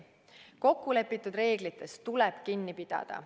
Kokku lepitud reeglitest tuleb kinni pidada.